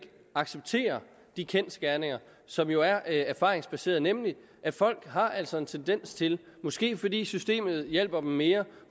acceptere de kendsgerninger som jo er er erfaringsbaserede nemlig at folk altså har en tendens til måske fordi systemet hjælper dem mere